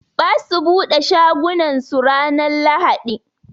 Ɓasu ɓude shagunan su ranan lahaɗi.